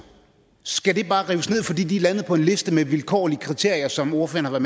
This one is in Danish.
skal det bare rives ned fordi de er landet på en liste med vilkårlige kriterier som ordføreren har